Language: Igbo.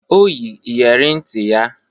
O yi iyere nti ya